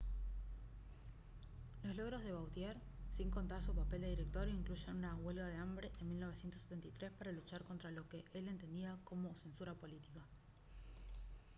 los logros de vautier sin contar su papel de director incluyen una huelga de hambre en 1973 para luchar contra lo que él entendía como censura política